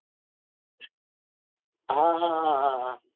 હા હા હા